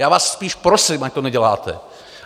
Já vás spíš prosím, ať to neděláte.